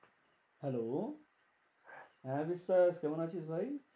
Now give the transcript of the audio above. Hello হ্যাঁ কেমন আছিস ভাই?